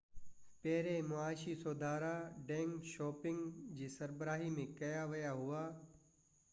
پهريان معاشي سُڌارا ڊينگ شائوپنگ جي سربراهي ۾ ڪيا ويا هئا